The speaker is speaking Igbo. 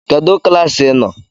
Kedụ klaasị ị nọ?